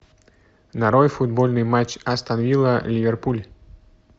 нарой футбольный матч астон вилла ливерпуль